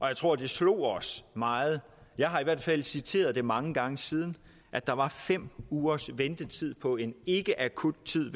jeg tror det slog os meget jeg har i hvert fald citeret det mange gange siden at der var fem ugers ventetid på en ikkeakuttid